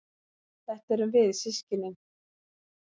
Þetta erum við systkinin.